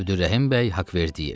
Əbdürrəhim bəy Haqverdiyev.